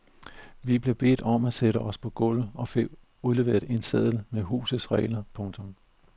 Vi blev bedt om at sætte os på gulvet og fik udleveret en seddel med husets regler. punktum